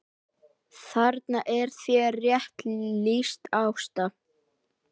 Þarna er þér rétt lýst Ásta!